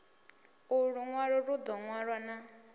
ulu lunwalo lu do wanala